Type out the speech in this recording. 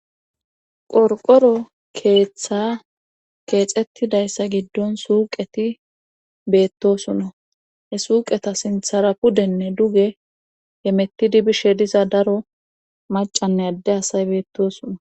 Qorqoro keeththaa keexeththidayssa giddon suuqeti beettosona; he suuqeta sinthara pudenne duge hemettidi bishe diza daro maccanne adde asay beettoosona.